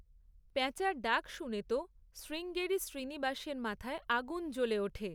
প্যাঁচার ডাক শুনে তো, শ্রীঙ্গেরি শ্রীনিবাসের মাথায় আগুন জ্বলে ওঠে।